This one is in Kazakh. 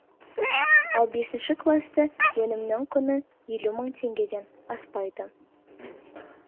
ал бесінші класты өнімнің құны елу мың теңгеден аспайды